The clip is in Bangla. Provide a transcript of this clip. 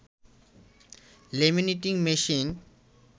laminating machine